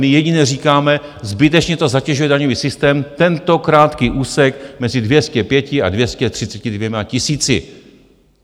My jedině říkáme - zbytečně to zatěžuje daňový systém, tento krátký úsek mezi 205 a 232 tisíci.